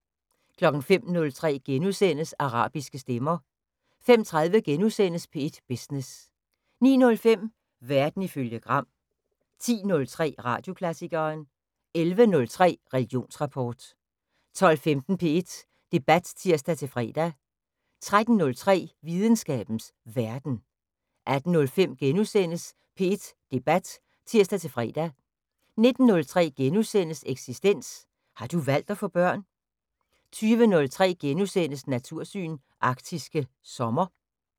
05:03: Arabiske stemmer * 05:30: P1 Business * 09:05: Verden ifølge Gram 10:03: Radioklassikeren 11:03: Religionsrapport 12:15: P1 Debat (tir-fre) 13:03: Videnskabens Verden 18:05: P1 Debat *(tir-fre) 19:03: Eksistens: Har du valgt at få børn? * 20:03: Natursyn: Arktisk sommer *